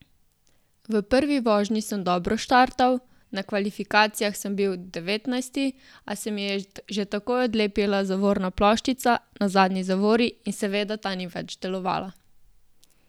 V prvi vožnji sem dobro startal, na kvalifikacijah sem bil devetnajsti, a se mi je že takoj odlepila zavorna ploščica na zadnji zavori in seveda ta ni več delovala.